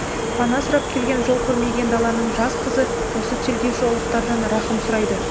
пана сұрап келген жол көрмеген даланың жас қызы осы тергеуші ұлықтардан рахым сұрайды